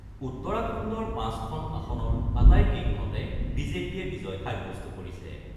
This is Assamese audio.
উত্তৰাখণ্ডৰ ৫খন আসনৰ আটাইকেইখনতে বিজেপিয়ে বিজয় সাব্যস্ত কৰিছে।